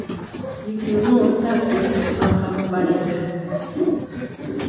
екеуінің ортақ егіс алқабы бар еді